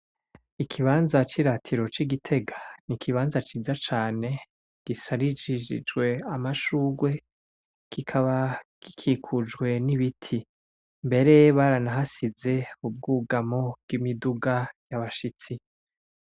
Ikibanza ciratiro ci Gitega n' ikibanza ciza cane gisharijwe n' amashurwe kikaba gikikujwe n' ibiti, mbere baranahashiz' ubwugamo bw' imiduga y' abashitsi.